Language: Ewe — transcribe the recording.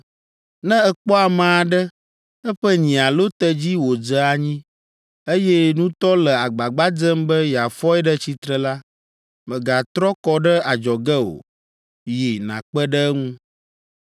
“Ne èkpɔ ame aɖe, eƒe nyi alo tedzi wòdze anyi, eye nutɔ le agbagba dzem be yeafɔe ɖe tsitre la, mègatrɔ kɔ ɖe adzɔge o; yi nàkpe ɖe eŋu!